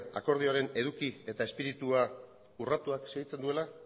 akordioaren eduki eta espiritua urratuak segitzen duela